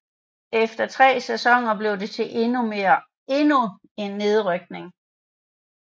Efter tre sæsoner blev det til endnu en nedrykning